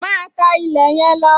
Máa tá ilẹ̀ yẹn lọ!